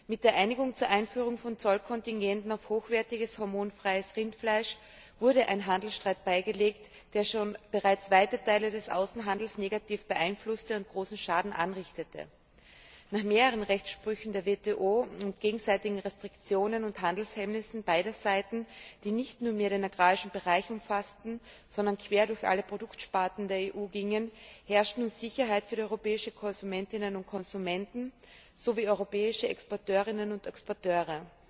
Mit der Einigung zur Einführung von Zollkontingenten auf hochwertiges hormonfreies Rindfleisch wurde ein Handelsstreit beigelegt, der bereits weite Teile des Außenhandels negativ beeinflusste und großen Schaden anrichtete. Nach mehreren Rechtssprüchen der WTO und gegenseitigen Restriktionen und Handelshemmnissen beider Seiten, die nicht nur den Agrarbereich umfassten, sondern quer durch alle Produktsparten der EU gingen, herrscht nun Sicherheit für die europäischen Konsumenten und Konsumentinnen sowie die europäischen Exporteurinnen und Exporteure.